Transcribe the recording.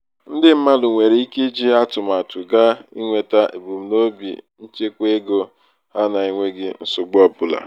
ndị mmadụ nwere ike iji atụmatụ ga nweta ebumnobi nchekwaego ha na-enweghi nsogbu ọbụla.